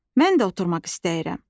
Mən də oturmaq istəyirəm.